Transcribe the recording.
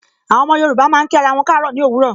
Àwọn ọmọ Yorùbá máa ń kí ara wọn kaaro ni òwúrọ̀.